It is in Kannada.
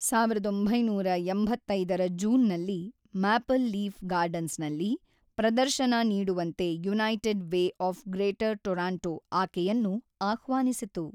ಸಾವಿರದ ಒಂಬೈನೂರ ಎಂಬತ್ತೈದರ ಜೂನ್‌ನಲ್ಲಿ ಮ್ಯಾಪಲ್ ಲೀಫ್ ಗಾರ್ಡನ್ಸ್‌ನಲ್ಲಿ ಪ್ರದರ್ಶನ ನೀಡುವಂತೆ united way of greater Toronto ಆಕೆಯನ್ನು ಆಹ್ವಾನಿಸಿತು.